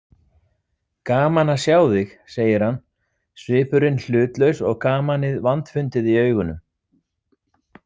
Gaman að sjá þig, segir hann, svipurinn hlutlaus og gamanið vandfundið í augunum.